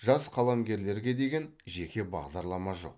жас қаламгерлерге деген жеке бағдарлама жоқ